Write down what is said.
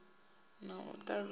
na u takusa u re